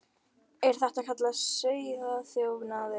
Er þetta ekki kallað sauðaþjófnaður?